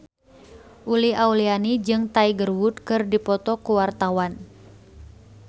Uli Auliani jeung Tiger Wood keur dipoto ku wartawan